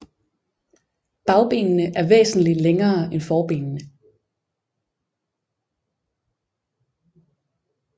Bagbenene er væsentlig længere end forbenene